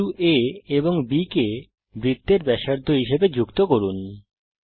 বিন্দু A এবং B কে বৃত্তের ব্যাসার্ধ হিসাবে যুক্ত করুন